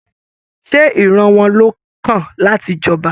Ṣe ìran wọn ló kan láti j'ọba?